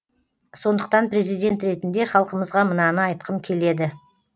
сондықтан президент ретінде халқымызға мынаны айтқым келеді